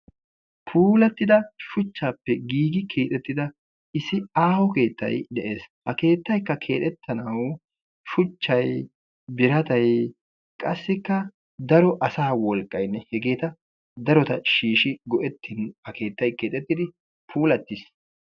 Puulatidda giigi keexxettidda issi aaho keettay de"ees. Ha keettaykka keexxetanaw shuchchay birattay qassikka daro asaa wolqqaynne heegeta darota shiishi go"etin ha keettay keexxettidi puulattiis.